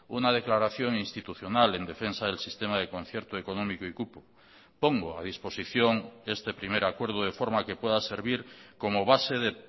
una declaración institucional en defensa del sistema de concierto económico y cupo pongo a disposición este primer acuerdo de forma que pueda servir como base de